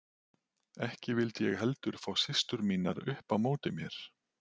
Ekki vildi ég heldur fá systur mínar upp á móti mér.